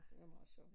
Det var meget sjovt